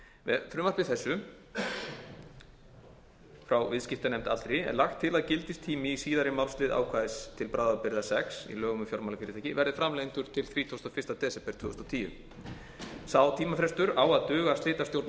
með frumvarpi þessufrá viðskiptanefnd allri er lagt til að gildistími í síðari málslið ákvæðis til bráðabirgða sex í lögum um fjármálafyrirtæki verði framlengdur til þrítugasta og fyrsta desember tvö þúsund og tíu sá tímafrestur á að duga slitastjórn askar